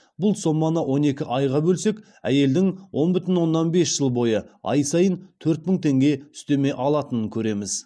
бұл соманы он екі айға бөлсек әйелдің он бүтін оннан бес жыл бойы ай сайын төрт мың теңге үстеме алатынын көреміз